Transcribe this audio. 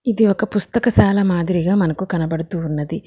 ఇది ఒక పుస్తకశాల మాదిరిగా మనకు కనపడుతూ ఉన్నది.